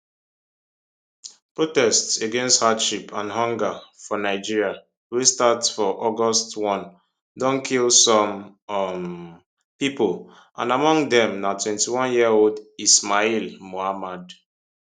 protests against hardship and hunger for nigeria wey start for august 1 don kill some um pipo and among dem na 21 year old ismail muhammad